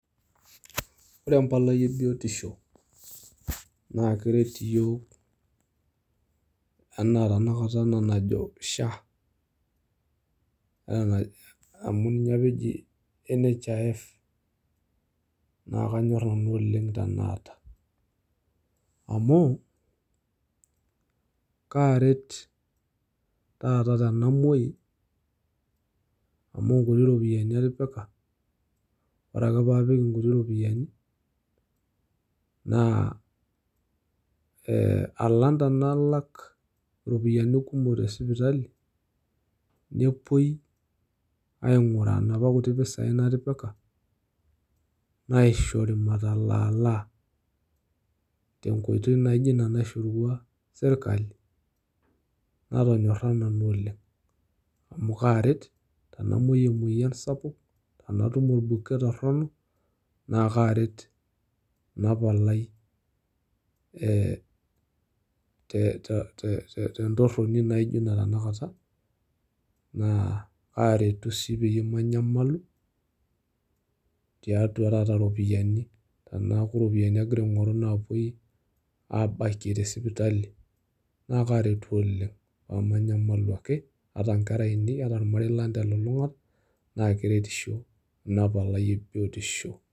Ore empalai ebiotisho na keret iyiok, anaa tanakata ena najo SHA, amu nije apa eji NHIF, na kanyor nanu oleng' enaata. Amu kaaret taata tenamoyu, amu nkuti iropiyiani ake ipik, ore ake paapik inkuti ropiyaiani, naa alang tenalak iropiyiani kumok tesipitali, nepoi aing'uraa napa kuti pisai natipika, naishori matalaalaa, tenkoitoi naijo ina naishorua sirkali, natonyorra nanu okeng', amu karet tenamoyu emoyian sapuk, tenatum orbuket torronok, na kare ina palai te tentorroni naijo ina tanakata. Na aretu si peyie manyamalu, tiatua taata ropiyaiani. Teneeku iropiyiani agira aing'oru napoi abakie tesipitali, na karetu oleng',pamanyamalu ake, ata nkera ainei, ata ormarei lang' telulung'ata, na keretisho ina palai ebiotisho.